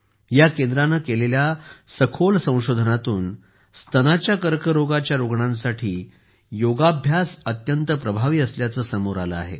या केंद्राने केलेल्या सखोल संशोधनातून स्तनाच्या कर्करोगाच्या रुग्णांसाठी योगाभ्यास अत्यंत प्रभावी असल्याचे समोर आले आहे